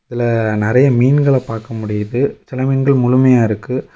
இதுல நறைய மீன்கள பாக்க முடியுது சில மீன்கள் முழுமையா இருக்கு.